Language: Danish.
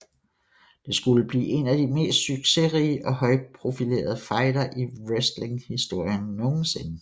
Det skulle blive en af de mest succesrige og højtprofilerede fejder i wrestlinghistorien nogensinde